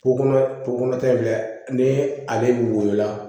Ko kɔnɔ ko kɔnɔ tɛ dɛ ni ale woyola